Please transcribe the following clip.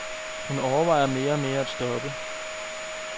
Hun overvejer mere og mere at stoppe.